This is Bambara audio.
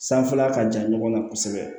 Sanfɛla ka jan ɲɔgɔn na kosɛbɛ